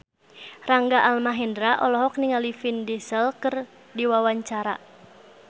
Rangga Almahendra olohok ningali Vin Diesel keur diwawancara